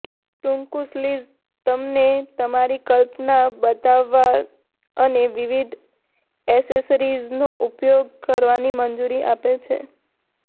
ટૂંકુ sleeves તમને તમારી કલ્પના બતાવવા અને વિવિધ એસેસરીઝનો ઉપયોગ કરવાની મંજૂરી આપે છે